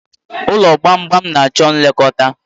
Ụlọ gbamgbam Na-chọ nlekọta.